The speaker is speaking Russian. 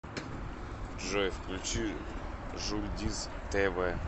джой включи жульдиз тэ вэ